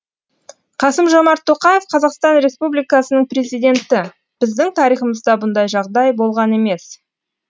қасым жомарт тоқаев қазақстан республикасының президенті біздің тарихымызда бұндай жағдай болған емес